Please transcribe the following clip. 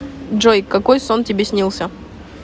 джой какой сон тебе снился